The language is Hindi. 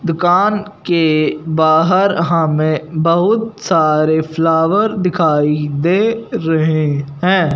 दुकान के बाहर हमें बहुत सारे फ्लावर दिखाई दे रहे हैं।